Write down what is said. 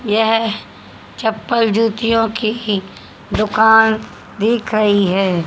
यह चप्पल जूतियों की दुकान दिख रही है।